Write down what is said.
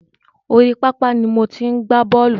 Orí pápá ni mo ti ń gbá bọ̀ọ́lù.